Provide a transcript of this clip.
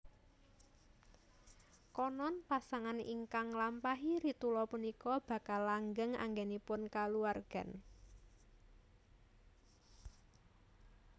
Konon pasangan ingkang nglampahi ritula punika bakal langgeng anggenipun kulawargan